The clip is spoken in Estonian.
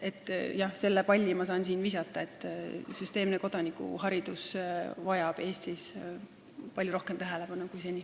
Jah, selle palli saan ma visata, et süsteemne kodanikuharidus vajab Eestis palju rohkem tähelepanu kui seni.